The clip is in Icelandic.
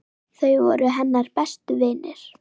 Þau voru hennar bestu vinir.